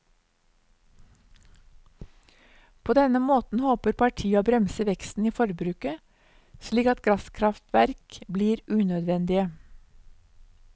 På denne måten håper partiet å bremse veksten i forbruket, slik at gasskraftverk blir unødvendige.